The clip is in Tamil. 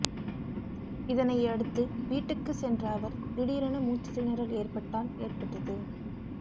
இதனை அடுத்து வீட்டுக்கு சென்ற அவர் திடீரென மூச்சுத்திணறல் ஏற்பட்டால் ஏற்பட்டது